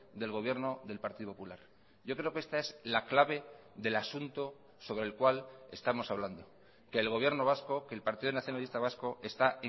del gobierno del partido popular yo creo que esta es la clave del asunto sobre el cual estamos hablando que el gobierno vasco que el partido nacionalista vasco está